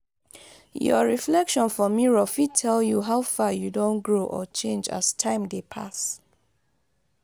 your reflection for mirror fit tell you how far you don grow or change as time dey pass